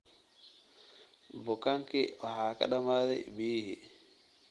Bukaankii waxaa ka dhamaaday biyihii